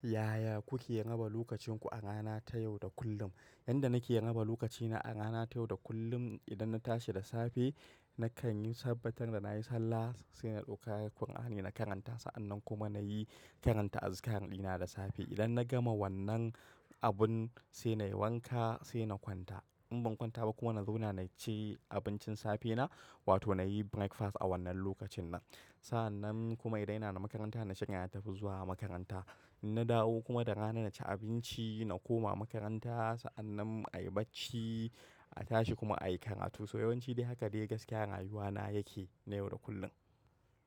Ya ya kuke raba lokacinku a rana ta yau da kullum? Yanda nake raba lokacina a rana ta yau da kullum, idan na tashi da safe nakan yi sabbatar wa na yi sallah, sai na ɗauka Alqur'ani na karanta. Sa'annan kuma na yi karanta azikar ɗina da safe. Idan na gama wannan abun, sai na yi wanka sai na kwanta. In ban kwanta ba kuma na zauna na ci abincin safena wato na yi breakfast a wannan lokacin nan. Sa'annan kuma idan yana na makaranta, na shiga yana tafi zuwa makaranta. In na dawo kuma da rana na ci abinci, na koma makaranta sa'annan a yi bacci, a tashi kuma a yi karatu. So yawanci dai haka dai gaskiyar rayuwana yake na yau da kullin.